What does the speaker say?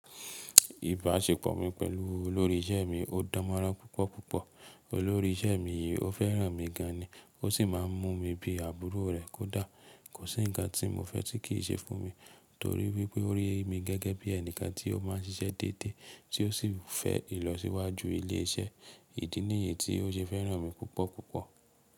Ìbáṣepọ̀ mi pẹ̀lú olórí ìṣẹ́ mi ò dánmọ́rán púpọ̀ púpọ̀. Olórí ìṣẹ́ mi yìí ò fẹ́ràn mi gan ni, ó sì máà ń mú mi bí àbúrò rẹ̀, kó dà. Kò sí ǹkan tí mo fẹ́ tí kì í ṣe fún mi torí wípé ó rí mi gẹ́gẹ́ bí ẹnìkan tí ó máà ń ṣiṣẹ́ déédé tí ó sì ń fẹ́ ìlọsíwájú ilé iṣẹ́. Ìdí nìyí tí ó ṣe fẹ́ràn mi púpọ̀ púpọ̀.